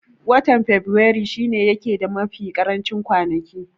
Watan faberaru shi ne yake da mafi karancin kwanaki